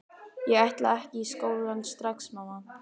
Ég ætla ekki í skólann strax, mamma!